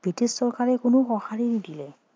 British চৰকাৰে কোনো সঁহাৰি নিদিলে